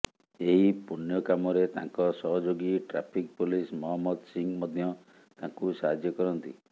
ଏହି ପୂଣ୍ୟକାମରେ ତାଙ୍କ ସହଯୋଗୀ ଟ୍ରାଫିକ୍ ପୋଲିସ୍ ମହମ୍ମଦ ସିଂହ ମଧ୍ୟ ତାଙ୍କୁ ସାହାଯ୍ୟ କରନ୍ତି